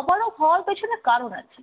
অপারক হওয়ার পেছনে কারণ আছে।